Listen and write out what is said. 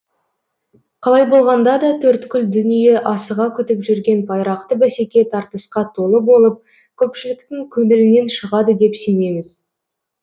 қалай болғанда да төрткүл дүние асыға күтіп жүрген байрақты бәсеке тартысқа толы болып көпшіліктің көңілінен шығады деп сенеміз